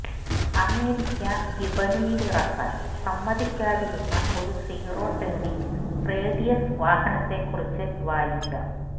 America വിപണിയിലിറക്കാന് സമ്മതിക്കാതിരുന്ന ഒരു സീറോ ടേണിങ് റേഡിയസ് വാഹനത്തെക്കുറിച്ച് വായിക്കാം